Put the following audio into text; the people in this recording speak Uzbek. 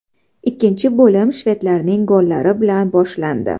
Ikkinchi bo‘lim shvedlarning gollari bilan boshlandi.